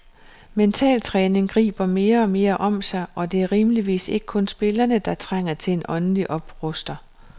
Mentaltræning griber mere og mere om sig, og det er rimeligvis ikke kun spillerne, der trænger til en åndelig opruster.